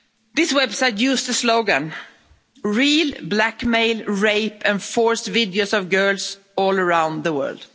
This website used the slogan real blackmail, rape and forced videos of girls all around the world'.